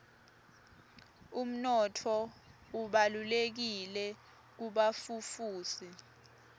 umnotfo ubalulekile kubafufusi